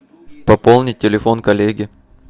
пополнить телефон коллеге